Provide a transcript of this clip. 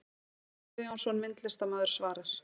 Kjartan Guðjónsson, myndlistarmaður svarar